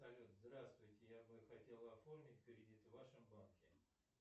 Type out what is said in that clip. салют здравствуйте я бы хотел оформить кредит в вашем банке